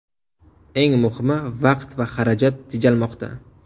Eng muhimi, vaqt va xarajat tejalmoqda.